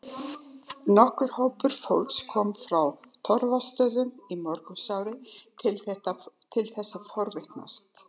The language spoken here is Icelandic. Nokkur hópur fólks kom frá Torfastöðum í morgunsárið til þess að forvitnast.